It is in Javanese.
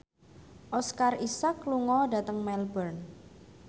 Oscar Isaac lunga dhateng Melbourne